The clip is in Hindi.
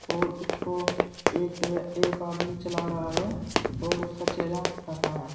और इसको एक वे एक आदमी चला रहा है और उसका चेहरा ढका है।